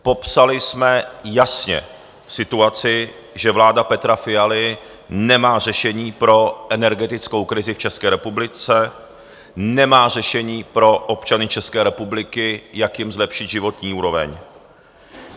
Popsali jsme jasně situaci, že vláda Petra Fialy nemá řešení pro energetickou krizi v České republice, nemá řešení pro občany České republiky, jak jim zlepšit životní úroveň.